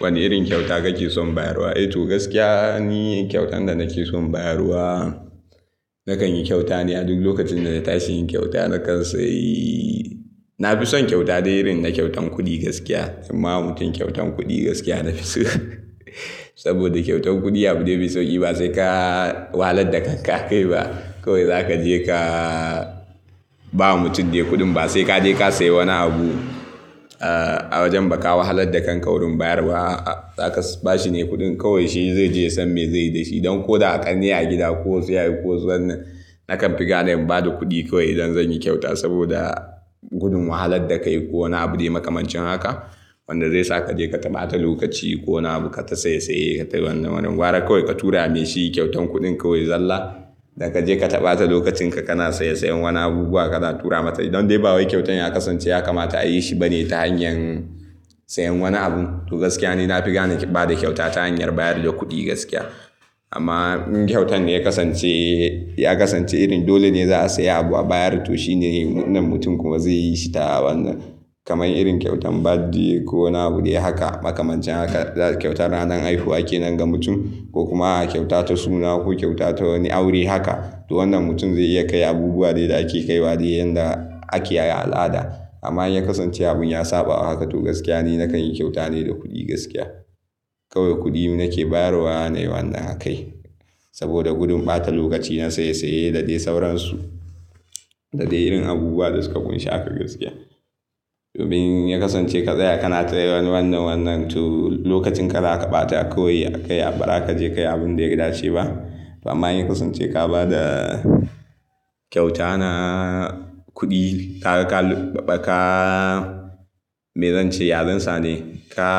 Wane irin kyauta kake son bayarwa? A To, gaskiya ni kyautan da nake son bayarwa, nakan yi kyauta ne a duk lokacin dana tashi yin kyauta na kan sayi. Na fi son kyauta dai irin na kyautan kuɗi gaskiya. Imma mutum kyautan kuɗi gaskiya na fi so saboda kyautan kuɗi abu dai bai sauki ba sai kaa wahalar da kanka ka kai ba. Kowai za ka je kaa ba mutum dai kuɗin ba sai ka je ka sayi wani abu, eh, a wajen ba ka wahalar da kanka kuɗin bayarwa, zaka ba shi ne kuɗin. Kawai shi zai je yasan me zai yi da shi don ko da a ƙanne a gida ko su yaya ko su wannan. Nakan fi gane in ba da kuɗi kawai idan zan yi kyauta saboda gudun wahalar da kai ko wani abu dai makamancin haka wanda zai sa ka je kata bata lokaci ko wani abu kai ta saye saye ka ta wannan wannan. Gwara kawai ka tura mai shi kyautan kuɗin kawai zallah. Da ka je kata bata lokacin ka, kana saye sayen wani abubuwa ka tura mata. Idan dai bawai kyautan ya kasance ya kamata a yi shi bane ta hanyar sayen wani abu. To, gaskiya ni na fi gane bada kyauta ta hanyar bayar da kuɗi gaskiya. Amma in kyautan ya kasance, ya kasance irin dole ne za a sayi abu a bayar. To shi ne wannan mutum kuma zai yi shi ta wannan. Kamai irin kyautan ɓadi ko wani abu dai haka makamancin haka kyautan ranar haihuwa ke nan ga mutum ko kuma a kyauta ta suna ko kyauta ta wani aure haka. To wannan mutum zai iya kai abubuwa dai da ake kaiwa dai yanda ake yi a al'ada. Amma in ya kasance abun ya saba haka, to gaskiya ni nakan yi kyauta ne da kuɗi gaskiya. Kowai kuɗi nake bayarwa na yi wannan a kai saboda gudun ɓata lokaci na saye saye da dai sauransu da dai irin abubuwa da suka kunshi haka gaskiya. Domin in ya kasance ka tsaya kana tsaye wannan wannan to lokacin ka da aka ɓata kawai akai bazakaje ka yi abun da ya dace ba. Amma in ya kasance ka ba da kyauta na kuɗi, kaga, ka, kaa, me zan ce, yazansa ne. Ka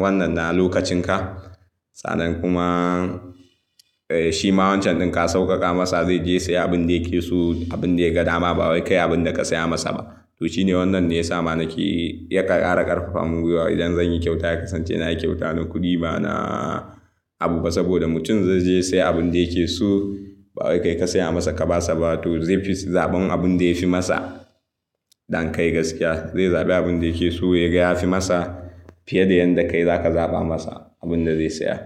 wannan na lokacin ka. Sannan kuma, eh, shi ma wancan ɗin ka sauƙaƙa masa. Zai je ya saya abin da yake so, abin da ya ga dama ba wai kai abin da ka saya masa ba. To shi ne wannan ne ya sa ma nake ƙara ƙarfafa mun gwiwa idan zan yi kyauta ya kasance na yi kyauta na kuɗi ba na abu ba saboda mutum zai je ya saya abin da yake so. Ba wai ka yi ka saya masa ka ba sa ba. To zai fi zaɓan abun da ya fi masa than kai gaskiya. Zai zaɓi abin da yake so yaga yafi masa fiye da yanda kai za ka zaɓa masa abin da zai saya.